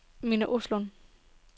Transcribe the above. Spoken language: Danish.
Minna Olsson